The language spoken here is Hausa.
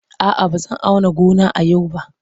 A'a, ba zan auna gona a yau ba.